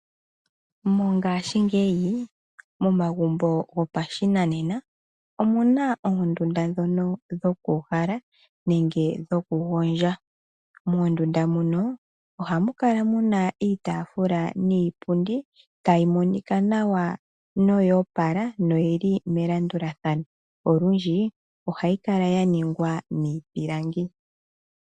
Mongaashingeyi momagumbo gopashinanena omuna oondunda ndhono dhokuuhala nenge dhoku gondja. Moondunda muno ohamu kala muna iitaafula niipundi tayi monika nawa noyoopala noyili melandulathano. Olundji ohayi kala ya ningwa miipilangi.